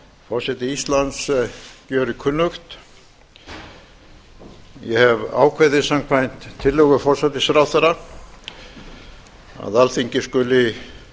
forseti íslands gjörir kunnugt ég hefi ákveðið samkvæmt tillögu forsætisráðherra að alþingi skuli